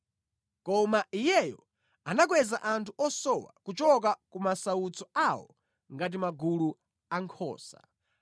Koma Iyeyo anakweza anthu osowa kuchoka ku masautso awo ngati magulu a nkhosa.